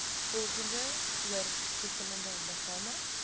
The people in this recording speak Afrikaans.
volgende oorkoepelende liggame